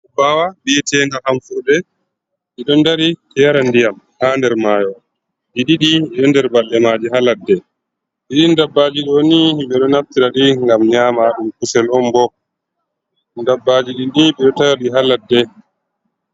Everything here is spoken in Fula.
Kobawa biyete nga hamfurde ɗido ndari yara ndiyam ha nder mayo, ɗi ɗiɗi ɗiɗo nder balɗe maje ha ladde ɗi dabbajii ɗoni ɓeɗo natira ɗi nyama kusel on bo dabbaji ɗi ni ɓeɗo tawaɗi ha ladde.